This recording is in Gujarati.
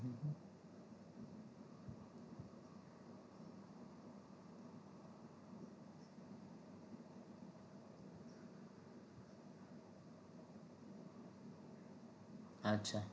અચ્છા